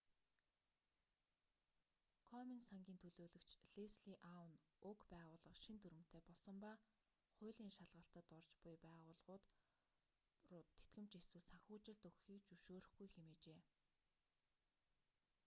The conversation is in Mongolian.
комен сангийн төлөөлөгч лесли аун уг байгууллага шинэ дүрэмтэй болсон ба хуулийн шалгалтад орж уй байгууллагууд руу тэтгэмж эсвэл санхүүжилт өгөхийг зөвшөөрөхгүй хэмээжээ